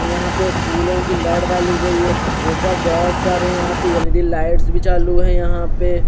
यहा पे फूलो की लड़ गाली गयी है उपर बहोत सारे यह पे यदि लाइट भी चालू है यहा पे--